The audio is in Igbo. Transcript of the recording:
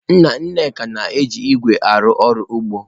Nna Nneka na-eji ígwè arụ ọrụ ugbo.